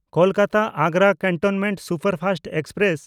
ᱠᱳᱞᱠᱟᱛᱟ–ᱟᱜᱽᱨᱟ cantonment superfast express